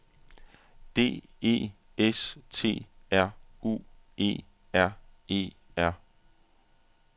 D E S T R U E R E R